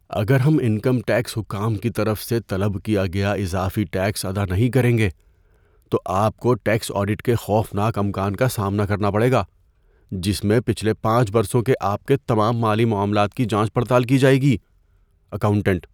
اگر ہم income tax حکام کی طرف سے طلب کیا گیا اضافی ٹیکس ادا نہیں کریں گے تو آپ کو ٹیکس آڈٹ کے خوفناک امکان کا سامنا کرنا پڑے گا، جس میں پچھلے پانچ برسوں کے آپ کے تمام مالی معاملات کی جانچ پڑتال کی جائے گی۔ (اکاؤنٹنٹ)